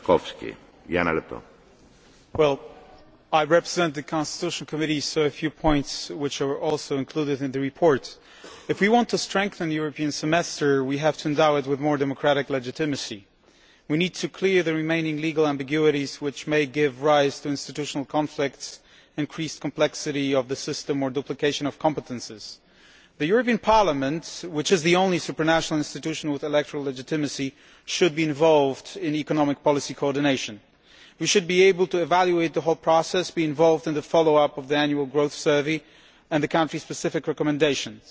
Mr President, I am speaking on behalf of the Committee on Constitutional Affairs, so these points are also included in the report. If we want to strengthen the European Semester we have to endow it with more democratic legitimacy. We need to clear up the remaining legal ambiguities which may give rise to institutional conflicts, increased complexity of the system, or duplication of competences. The European Parliament, which is the only supranational institution with electoral legitimacy, should be involved in economic policy coordination. We should be able to evaluate the whole process, be involved in the follow up to the annual growth survey and the country specific recommendations.